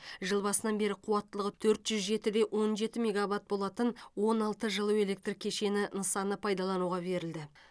жыл басынан бері қуаттылығы төрт жүз жеті де он жеті мегаватт болатын он алты жылу электр кешені нысаны пайдалануға берілді